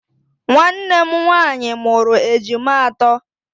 Nwannem nwaanyị mụrụ ejima atọ.